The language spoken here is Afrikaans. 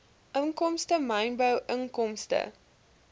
inkomste mynbou inkomste